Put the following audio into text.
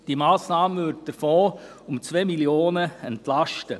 Diese Massnahme würde den Fonds um 2 Mio. Franken entlasten.